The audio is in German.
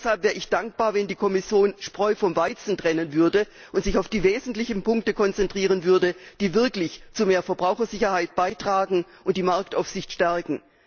Deshalb wäre ich dankbar, wenn die Kommission die Spreu vom Weizen trennen und sich auf die wesentlichen Punkte konzentrieren würde, die wirklich zu mehr Verbrauchersicherheit beitragen und die Marktaufsicht stärken.